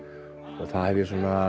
og það hef ég